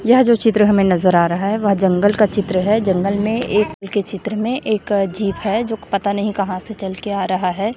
यह जो चित्र हमें नजर आ रहा है वह जंगल का चित्र है जंगल में एक जिप है जो पता नहीं कहां से चल के आ रहा हैं।